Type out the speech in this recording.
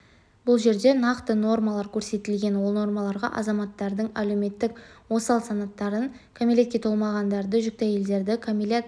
бұл жерде нақты нормалар көрсетілген ол нормаларға азаматтардың әлеуметтік осал санаттарын кәмелетке толмағандарды жүкті әйелдерді кәмелет